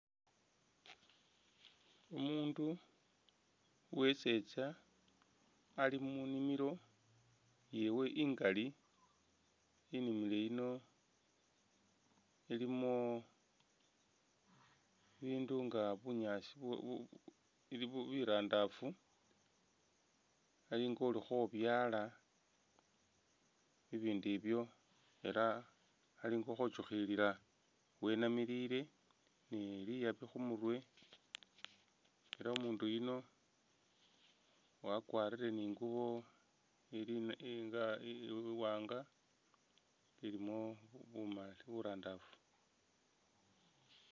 Umundu wesetsa ali munimilo yewe i'ngali inimilo yino ilimo bibindu nga bunyaasi bu bu birandafu ali nga ukhobyaala bibindu ibyo ela ali nga ukhotsukhilila wenamilile ni liyaabi khumurwe ela umundu yuno wakwalire ni i'ngubo ili ili iwaanga ilimo buma burandafu